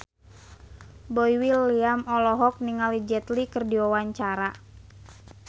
Boy William olohok ningali Jet Li keur diwawancara